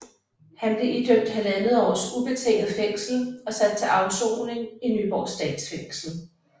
Han blev idømt 1½ års ubetinget fængsel og sat til afsoning i Nyborg Statsfængsel